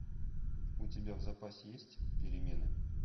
у тебя в запасе есть перемены